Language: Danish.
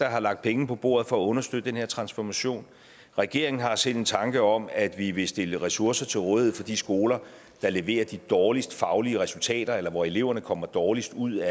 har lagt penge på bordet for at understøtte den her transformation regeringen har selv en tanke om at vi vil stille ressourcer til rådighed for de skoler der leverer de dårligst faglige resultater eller hvor eleverne kommer dårligst ud